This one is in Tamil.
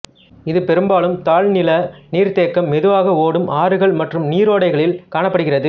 இது பெரும்பாலும் தாழ் நில நீர்த்தேக்கம் மெதுவாக ஓடும் ஆறுகள் மற்றும் நீரோடைகளில் காணப்படுகிறது